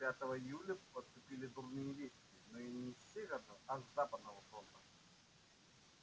пятого июля поступили дурные вести но не с северного а с западного фронта